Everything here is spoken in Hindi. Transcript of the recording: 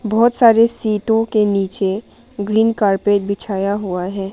बहुत सारे सीटों के नीचे ग्रीन कारपेट बिछाया हुआ है।